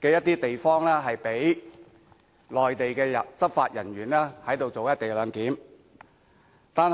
部分地方，讓內地執法人員執行"一地兩檢"。